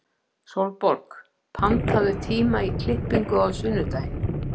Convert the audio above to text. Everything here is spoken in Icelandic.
Sólborg, pantaðu tíma í klippingu á sunnudaginn.